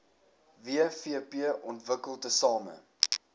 wvp ontwikkel tesame